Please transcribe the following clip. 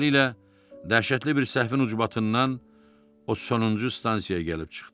Beləliklə, dəhşətli bir səhvin ucbatından o sonuncu stansiyaya gəlib çıxdı.